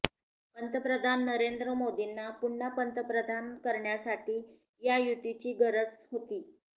पंतप्रधान नरेंद्र मोदींना पुन्हा पंतप्रधान करण्यासाठी या युतीची गरज होती